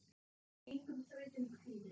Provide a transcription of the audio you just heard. Engum þrautum kvíði.